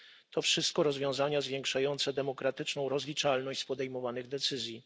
to wszystko rozwiązania zwiększające demokratyczną rozliczalność z podejmowanych decyzji.